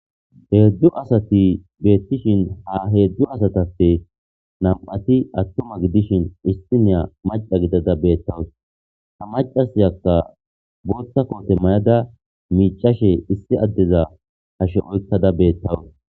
Heedzdzu asati beettishin ha heedzdzu asatappe nam"ati attuma gidishin issi naya maca gidada beettawus. ha macasiyakka boothta koote may"ada miicashe issi addeza hashe oykkada beettawus.